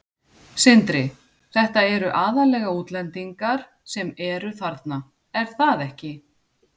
Sindri: Þetta eru aðallega útlendingar sem eru þarna, er það ekki?